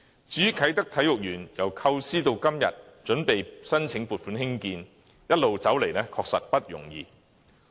至於啟德體育園，由構思到今天準備申請撥款興建，一路走來確實不易。